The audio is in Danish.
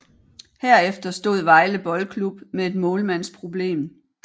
Herefter stod Vejle Boldklub med et målmandsproblem